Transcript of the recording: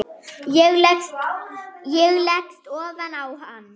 Ég leggst ofan á hann.